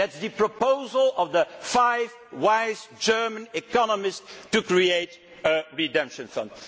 That is the proposal of the five wise German economists to create a redemption fund.